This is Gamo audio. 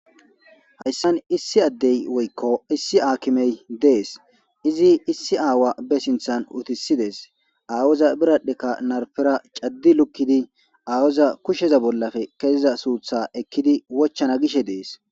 Haysan issi adey woyko issi akimey dees izi issi aawa be sinthan uttisides aawoza bira'eka narpera vadi likidi adeza kusheza bollappe keziza suutha ekidi wo hana gishe dees